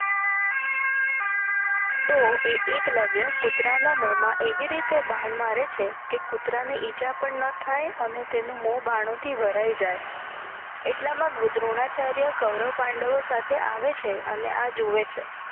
તો એ એકલવ્ય કુતરા ના મોહમાં એવી રીતે બાણ મારે છે કે કુતરા ને ઈજા પણ ન થઈ અને તનુ મોહ બાણો થી ભરાઈ જાય એટલામાં દ્રોણાચાર્ય કવરવ પાંડવો સાથે આવે છે અને એ જોવે છે.